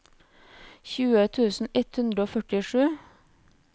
tjue tusen ett hundre og førtisju